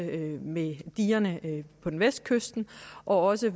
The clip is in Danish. ved digerne på vestkysten og også